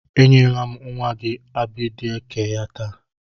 E nyela m nwa gị Abịdek ya taa.